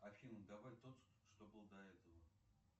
афина давай тот что был до этого